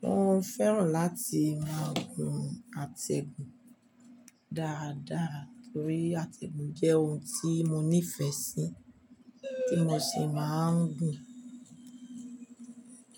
Mo fẹ́ràn láti máa gun àtẹ̀gùn dáadáa torí àtẹ̀gùn jẹ́ ohun tí mo nífẹ̀ẹ́ sí, tí mo sì máa ń gùn.